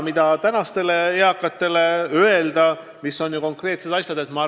Mida praegustele eakatele konkreetset öelda?